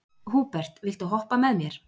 Húbert, viltu hoppa með mér?